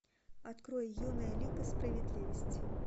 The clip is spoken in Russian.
открой юная лига справедливости